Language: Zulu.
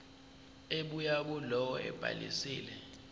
ebuya kulowo obhalisile